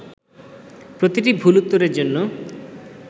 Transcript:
প্রতিটি ভুল উত্তরের জন্য